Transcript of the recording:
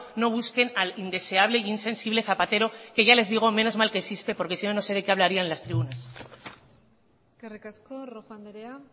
no busquen al indeseable e insensible zapatero que ya les digo menos mal que existe porque sino no sé de qué hablarían las tribunas eskerrik asko rojo andrea